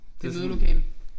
Det et mødelokale